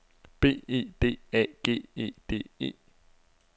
B E D A G E D E